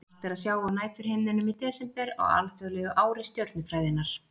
Margt er að sjá á næturhimninum í desember á alþjóðlegu ári stjörnufræðinnar.